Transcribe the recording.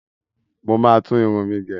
mọ má tún Irun mẹ gé.